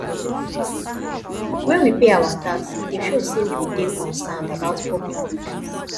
when we pay our tax e dey show sey we dey concerned about public good